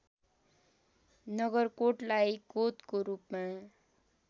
नगरकोटलाई कोतको रूपमा